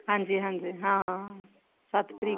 ਹਾਂਜੀ ਹਾਂਜੀ ਹਾਂ ਸੱਤ ਤਰੀਕ